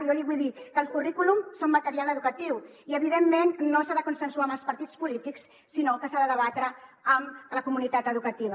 jo li vull dir que el currículum és un material educatiu i evidentment no s’ha de consensuar amb els partits polítics sinó que s’ha de debatre amb la comunitat educativa